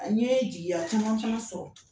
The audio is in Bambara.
N' ye jigiya caman fana sɔrɔ.